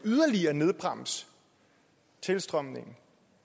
nedbremse tilstrømningen